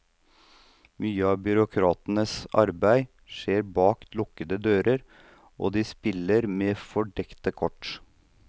Mye av byråkratenes arbeid skjer bak lukkede dører, og de spiller med fordekte kort.